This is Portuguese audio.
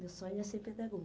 Meu sonho é ser